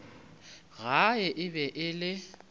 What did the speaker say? gae e be e le